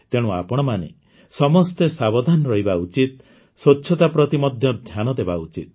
ତେଣୁ ଆପଣମାନେ ସମସ୍ତେ ସାବଧାନ ରହିବା ଉଚିତ ସ୍ୱଚ୍ଛତା ପ୍ରତି ମଧ୍ୟ ଧ୍ୟାନ ଦେବା ଉଚିତ